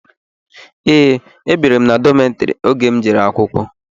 Ee, ebiri m na dọmetiri oge m n'eje akwụkwọ.